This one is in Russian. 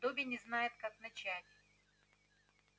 добби не знает как начать